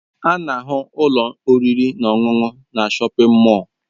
A na-ahụ ụlọ oriri na ọṅụṅụ na shọpin mọll.